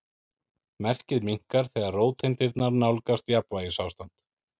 Merkið minnkar þegar róteindirnar nálgast jafnvægisástand.